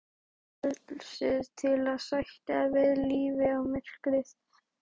Frelsið til að sættast við lífið og myrkrið.